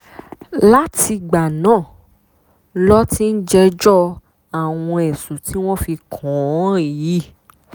látìgbà náà ló ti ń jẹ́jọ́ àwọn ẹ̀sùn tí wọ́n fi kàn án yìí